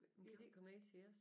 Kan de ikke komme ned til os?